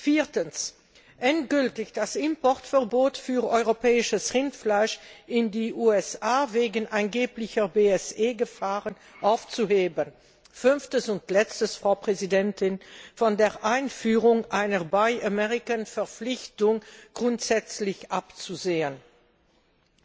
viertens endgültig das Importverbot für europäisches Rindfleisch in die USA wegen angeblicher BSE Gefahren aufzuheben fünftens und als Letztes sollte von der Einführung einer Buy American Verpflichtung grundsätzlich abgesehen werden.